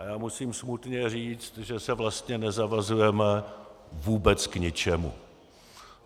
A já musím smutně říci, že se vlastně nezavazujeme vůbec k ničemu.